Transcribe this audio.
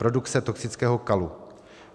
Produkce toxického kalu.